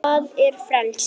hvað er frelsi